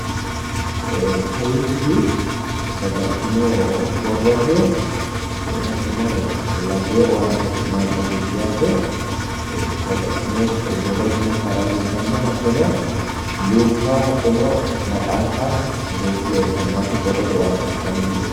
Kawiichi babbaxxiti borrote hattono labbewo owaante afi'nanni baseeti yaate hattobo luukka woyi maxaaffa afantanno base borrote owaante afi'nanni baseeti yaate